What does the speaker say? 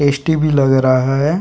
Tasty भी लग रहा हैं।